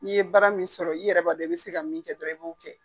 N'i ye baara min sɔrɔ i yɛrɛ b'a don i bɛ se ka min kɛ dɔrɔnw i b'o kɛ.